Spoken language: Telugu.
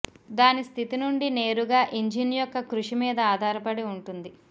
దాని స్థితి నుండి నేరుగా ఇంజిన్ యొక్క కృషి మీద ఆధారపడి ఉంటుంది